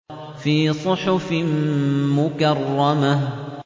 فِي صُحُفٍ مُّكَرَّمَةٍ